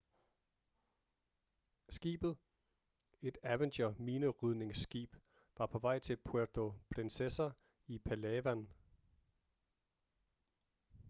skibet et avenger-minerydningsskib var på vej til puerto princesa i palawan